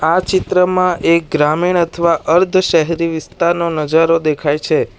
આ ચિત્રમાં એક ગ્રામીણ અથવા અર્ધ શહેરી વિસ્તાર નો નજારો દેખાય છે.